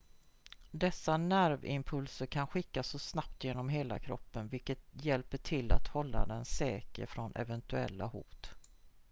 dessa nervimpulser kan skickas så snabbt genom hela kroppen vilket hjälper till att hålla den säker från eventuella hot